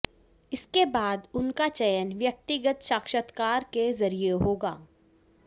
इसके बाद उनका चयन व्यक्तिगत साक्षातकार के जरिए होगा